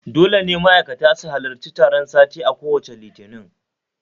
Dole ne ma'aikata su halarci taron sati a kowacce Litini